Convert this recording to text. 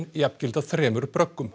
jafngilda þremur